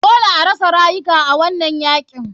Dole arasa rayuka a wanan yakin.